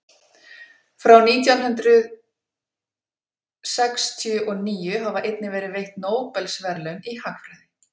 frá nítján hundrað sextíu og níu hafa einnig verið veitt nóbelsverðlaun í hagfræði